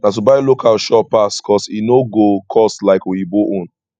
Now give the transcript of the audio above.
na to buy local sure pass cos e no go cost like oyinbo own